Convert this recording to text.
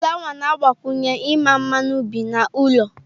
Flawa na-agbakwunye ịma mma n'ubi na ụlọ.